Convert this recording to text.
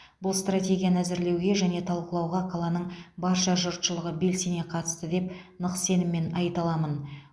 бұл стратегияны әзірлеуге және талқылауға қаланың барша жұртшылығы белсене қатысты деп нық сеніммен айта аламын